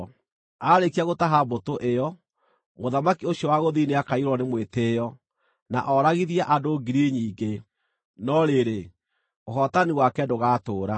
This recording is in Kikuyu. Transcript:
Aarĩkia gũtaha mbũtũ ĩyo, mũthamaki ũcio wa gũthini nĩakaiyũrwo nĩ mwĩtĩĩo, na ooragithie andũ ngiri nyingĩ, no rĩrĩ, ũhootani wake ndũgatũũra.